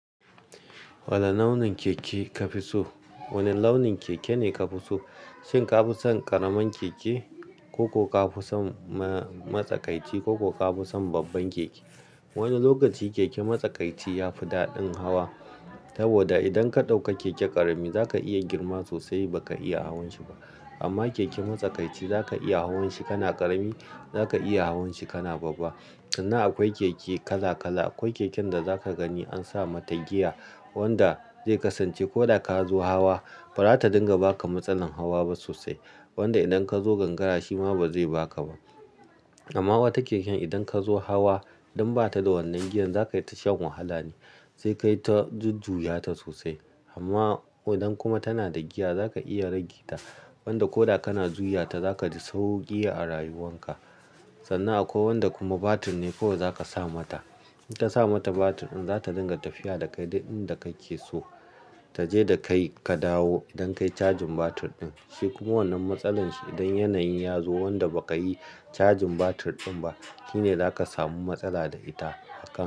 Wane launin keke kafi so? Wane launin keke ne ka fi so? Shin ka fi son ƙaramin keke koko ka fi son matsakaiti ko ka fi son babban keke? Wani lokaci keke matsakaiti ya fi daɗin hawa saboda idan ka ɗauka keke ƙarami zaka iya girma sosai baka iya hawan shi ba. Amma keke matsakaiti zaka iya hawan shi kana ƙarami zaka iya hawan shi kana babba. Sannan akwai keke kala kala. Akwai keken da zaka gani an sa mata giya wanda zai kasance ko da ka zo hawa ba za ta dinga baka matsalar hawa ba sosai. Wanda idan ka zo gangara shi ma ba zai baka ba. Amma wata keken idan ka zo hawa idan ba ta da wannan giyan zaka yi ta shan wahala ne zai kai ta zujjuya ta sosai. Amma idan kuma tana da giya zaka iya rage ta wanda ko da kana zuyata za ka ji sauƙi a rayuwan ka. Sannan akwai wanda kuma batir ne kawai za ka sa mata. Idan ka sa mata batir ɗin za ta dinga tafiya da ka duk inda kake so. Ta je da kai ka dawo don kai cajin batir ɗin. Shi kuma wannan matsalar shi idan yanayi ya zo wanda ba ka yi cajin batir ɗin ba, shine za ka samu matsala da ita a kan.